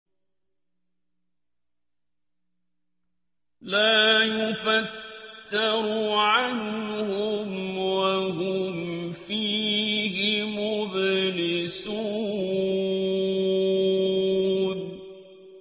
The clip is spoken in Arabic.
لَا يُفَتَّرُ عَنْهُمْ وَهُمْ فِيهِ مُبْلِسُونَ